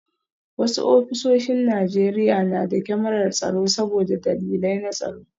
Wasu ofisoshin Najeriya na da kyamarar tsaro saboda dalilai na tsaro